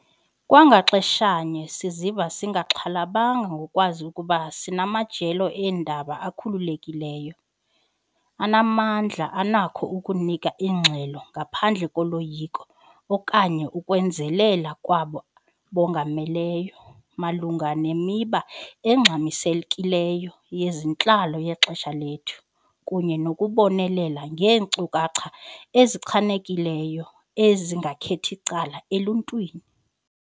Kwa ngaxeshanye, siziva singaxhalabanga ngokwazi ukuba sinamajelo eendaba akhululekileyo, anamandla anakho ukunika ingxelo ngaphandle koloyiko okanye ukwenzelela kwabo bongameleyo, malunga nemiba engxamisekileyo yezentlalo yexesha lethu, kunye nokubonelela ngeenkcukacha ezichanekileyo, ezingakheth'icala eluntwini.